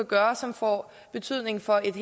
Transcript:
gøre som får betydning for et